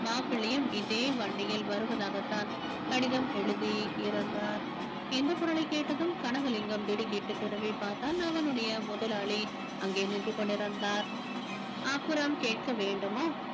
மாப்பிள்ளையும் இதே வண்டியில் வருவதாகத்தான் கடிதம் எழுதி இருந்தார் இந்த குரலைக் கேட்டதும் கனகலிங்கம் திடுக்கிட்டு திரும்பிப் பார்த்தான் அவனுடைய முதலாளி அங்கே நின்று கொண்டிருந்தார் அப்புறம் கேட்க வேண்டுமா